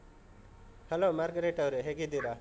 Hello Margaret ಅವ್ರೆ, ಹೇಗಿದ್ದೀರಾ?